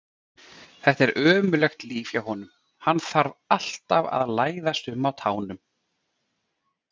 Þetta er ömurlegt líf hjá honum, hann þarf alltaf að læðast um á tánum.